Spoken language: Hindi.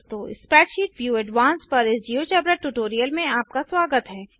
स्प्रैडशीट व्यू एडवान्स्ड पर इस जियोजेब्रा ट्यूटोरियल में आपका स्वागत है